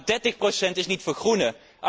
Maar dertig procent is niet vergroenen.